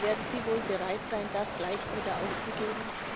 Werden sie wohl bereit sein, das leicht wieder aufzugeben?